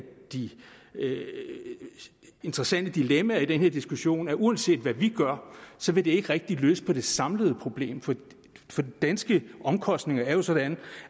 de interessante dilemmaer i den her diskussion uanset hvad vi gør vil det ikke rigtig løse det samlede problem for det danske omkostningsniveau er jo sådan